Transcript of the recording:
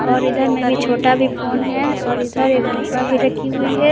और इधर में भी छोटा भी फोन है और इधर एक डिब्बा भी रखी हुई है।